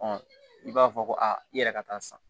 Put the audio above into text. i b'a fɔ ko aa i yɛrɛ ka taa san